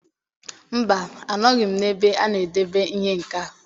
Mba, anọghị m n'ebe a na-edebe ihe nka.